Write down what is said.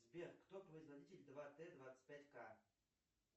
сбер кто производитель два т двадцать пять к